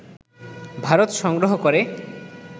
ভারত সংগ্রহ করে